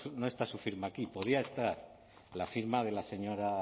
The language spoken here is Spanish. no está su firma aquí podía estar la firma de la señora